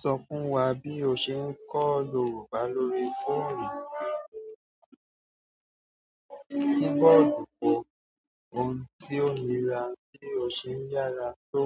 Sọ fún wa bí o ṣe ń kọ́ Yorùbá lórí fóònù. Nígbà olùpọ́ ohun tí ó nira bí o ṣe ń yára tó